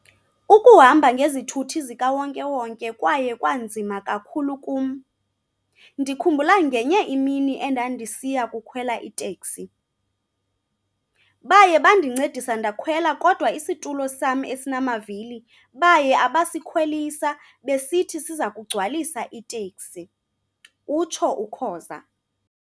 "Ukuhamba ngezithuthi zikawonke-wonke kwaye kwanzima kakhulu kum. Ndikhumbula ngenye imini endandisiya kukhwela iteksi. Baye bandicedisa ndakhwela kodwa isitulo sam esinamavili baye abasikhwelisa besithi sizakugcwaliswa iteksi," utsho uKhoza.